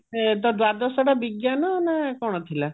ତୋ ଦ୍ଵାଦଶଟା ବିଜ୍ଞାନ ନା କଣ ଥିଲା